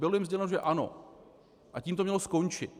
Bylo jim sděleno, že ano, a tím to mělo skončit.